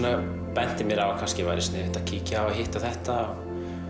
benti mér á að kannski væri sniðugt að kíkja á hitt og þetta